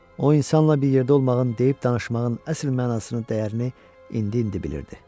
O insanla bir yerdə olmağın, deyib-danışmağın əsl mənasını, dəyərini indi-indi bilirdi.